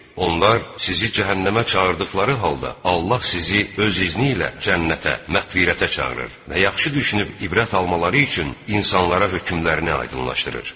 Onlar sizi cəhənnəmə çağırdıqları halda, Allah sizi öz izni ilə cənnətə, məğfirətə çağırır və yaxşı düşünüb ibrət almaları üçün insanlara hökmlərini aydınlaşdırır.